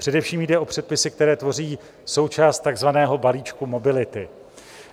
Především jde o předpisy, které tvoří součást takzvaného balíčku mobility.